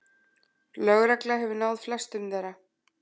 Lögregla hefur náð flestum þeirra